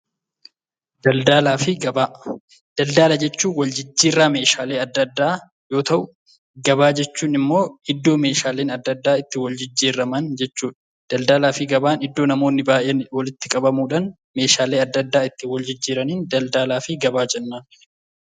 Daldala jechuun wal jijjiirraa meshaalee adda addaa yoo ta'u gabaa jechuunimmoo iddoo meeshaaleen adda addaa itti wal jijjiiramuudhaan jechuudha. Daldaalaafi gabaa iddoo namoonnni baayyeen walitti qabamuudhaan meshaalee adda addaa wal jijjiiraniin daldaalaafi gabaa jennaan.